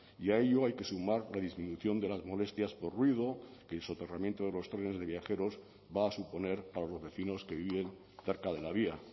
y a ello hay que sumar la disminución de las molestias por ruido que el soterramiento de los trenes de viajeros va a suponer para los vecinos que viven cerca de la vía